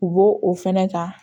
U bo o fɛnɛ ta